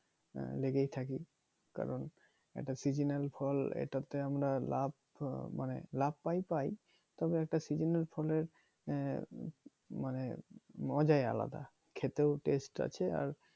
লেগেই থাকি কারন এইটা seasonal ফল এইটাতে আমরা লাভ মানে লাভ পাই পাই, তবে একটা সিজনাল ফলের মানে মজাই আলাদা খেতেও টেস্ট আছে আর